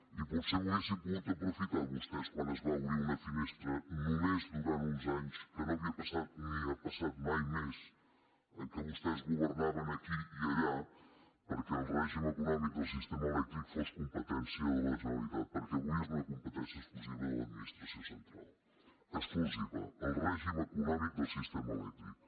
i potser ho haurien pogut aprofitar vostès quan es va obrir una finestra només durant uns anys que no havia passat ni ha passat mai més en què vostès governaven aquí i allà perquè el règim econòmic del sistema elèctric fos competència de la generalitat perquè avui és una competència exclusiva de l’administració central exclusiva el règim econòmic del sistema elèctric